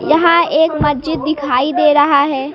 यहां एक मस्जिद दिखाई दे रहा है।